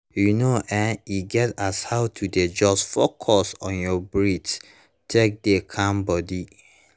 you know[um]e get as how to dey just focus on your breath take dey calm body